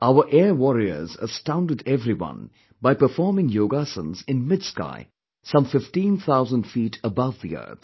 Our air warriors astounded everyone by performing yogasans in mid sky, some 15 thousand feet above the earth